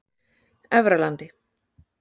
Efralandi